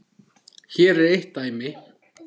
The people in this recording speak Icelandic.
Hér er eitt dæmi.